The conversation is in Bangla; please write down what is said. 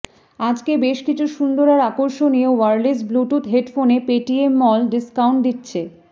আজকে বেশ কিছু সুন্দর আর আকর্ষণীয় ওয়ারলেস ব্লুটুথ হেডফোনে পেটিএমমল ডিস্কাউন্ট দিচ্ছে